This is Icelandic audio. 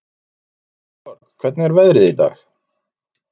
Sigurborg, hvernig er veðrið í dag?